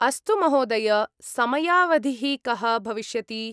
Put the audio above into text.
अस्तु, महोदय! समयावधिः कः भविष्यति ?